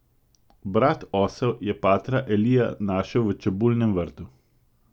Brat Osel je patra Elija našel v čebulnem vrtu.